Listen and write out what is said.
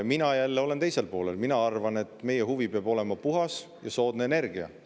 Mina olen teisel poolel ja arvan, et meie huvi peab olema puhas ja soodne energia.